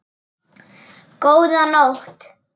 Góða nótt.